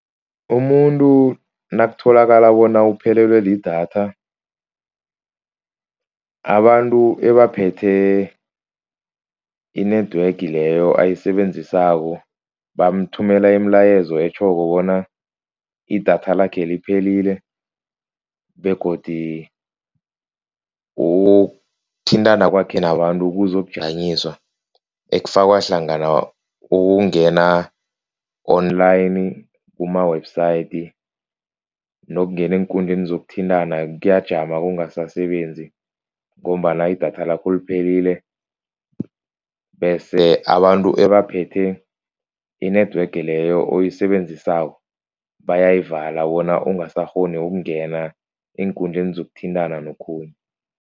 Umuntu nakutholakala bona uphelelwe lidatha. Abantu ebaphethe i-network leyo ayisebenzisako, bamthumela imilayezo etjhoko bona idatha lakhe liphelile begodu ukuthintana kwakhe nabantu kuzokujanyiswa. Ekufakwa hlangana ukungena online, kuma-website nokungena eenkundleni zokuthintana kuyajama kungasasebenzi ngombana idatha lakho liphelile, bese abantu abaphethe i-network leyo oyisebenzisako bayayivala bona ungasakghoni ukungena eenkundleni zokuthintana nokhunye.